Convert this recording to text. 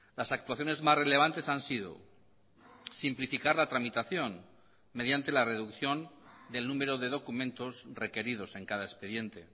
las actuaciones más relevantes han sido simplificar la tramitación mediante la reducción del número de documentos requeridos en cada expediente